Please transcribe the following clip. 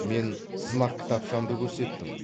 мен сынақ кітапшамды көрсеттім